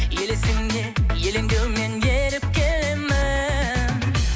елесіңе елеңдеумен еріп келемін